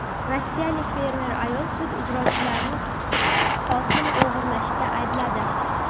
Rossiyalik fermer ayol sud ijrochilarini hosil o‘g‘irlashda aybladi.